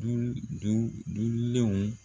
Dulu du dulenw.